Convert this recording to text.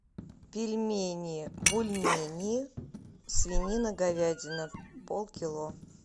пельмени бульмени свинина говядина полкило